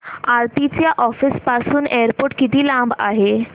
आरती च्या ऑफिस पासून एअरपोर्ट किती लांब आहे